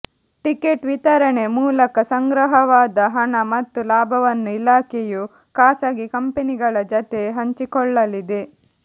ticket ವಿತರಣೆ ಮೂಲಕ ಸಂಗ್ರಹವಾದ ಹಣ ಮತ್ತು ಲಾಭವನ್ನು ಇಲಾಖೆಯು ಖಾಸಗಿ ಕಂಪೆನಿಗಳ ಜತೆ ಹಂಚಿಕೊಳ್ಳಲಿದೆ